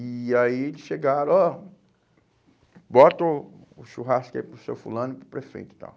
E aí eles chegaram, ó, bota o o churrasco aí para o seu fulano e para o prefeito e tal.